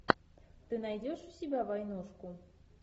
ты найдешь у себя войнушку